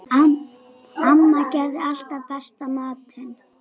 Amma gerði alltaf besta matinn.